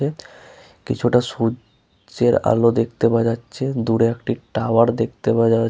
কিছুটা সূর্যে-র আলো দেখতে পাওয়া যাচ্ছে দূরে একটি টাওয়ার দেখতে পাওয়া যাচ--